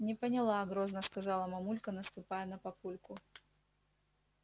не поняла грозно сказала мамулька наступая на папульку